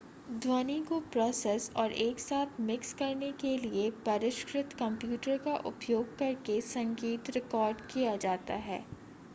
ध्वनि को प्रोसेस और एक साथ मिक्स करने के लिए परिष्कृत कंप्यूटर का उपयोग करके संगीत रिकॉर्ड किया जाता है